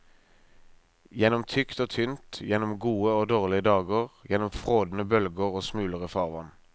Gjennom tykt og tynt, gjennom gode og dårlige dager, gjennom frådende bølger og smulere farvann.